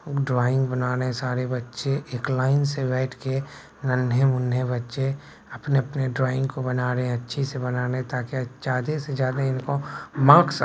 drawing बना रहे हैं सारे बच्चे एक लाइन से बैठ के नन्हे-मुन्हे बच्चे अपने-अपने ड्राइंग को बना रहे है अच्छे से बना ले ताकि ज्यादे से ज्यादे इनको मार्क्स --